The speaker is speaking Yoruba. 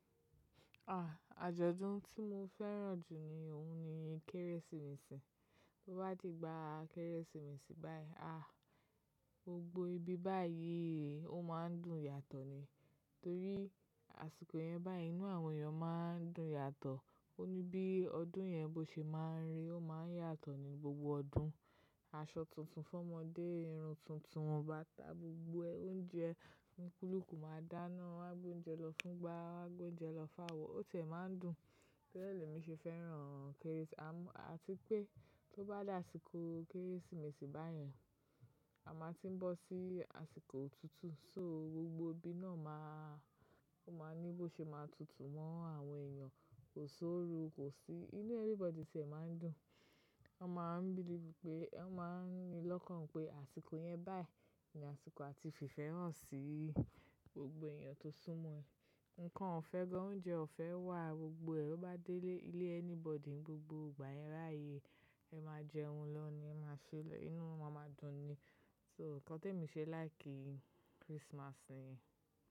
Ah! Àjọ̀dún tí mo fẹ́ràn jù ni òun ni Kérésìmesì. Bí ó bá di igba Kérésìmesì báyìí ah, gbogbo ibi báyìí ò ma ń dùn yàtọ̀ ni. Nítorí àsìkò yẹn báyìí inú àwọn èèyàn máa ń dùn yàtọ̀. Ó ní bí ọdún yẹn bó ṣe máa ń rí, ó máa ń yàtọ̀ ní gbogbo ọdún. Aṣọ tuntun fún ọmọdé, irun tuntun wọ báta gbogbo e oúnjẹ olúkùluku máa dáná, won a gbe óúnjẹ lọ fún gba, won a gbe óúnjẹ lọ fáwọ̀. Ó tiẹ̀ máa ń dùn. Tóri e lémi ṣe fẹ́ràn Kérésì, à tí pé tó bá dé àsìkò Kérésìmesì báyen, a máa tí ń bọ́ sí àsìkò òtútù. So gbogbo ibi náà máa, ó máa ní bó ṣe máa tutù mọ́ àwọn èèyàn, kò sí òru, kò sí inú everybody tiẹ̀ máa ń dùn. Wọ́n máa ń bílieve pé, wọ́n máa ń ni lọ́kàn pé àsìkò yẹn báyìí ni àsìkò a ti fifẹ́ hàn sí gbogbo èèyàn tó sún mọ́ ẹ. Ǹkan òfẹ́ gan, oúnjẹ ò fẹ́ wà, gbogbo ẹ bo bá délé ilé ẹni bọ́dì ní gbogbo ìgbà yẹn báyii, ẹ máa jẹun lọ ni ẹ máa ṣẹ elẹ̀yi, inú yin ma máa dùn ni. So nǹkan t'èmi fi láìkí Christmas niyẹn.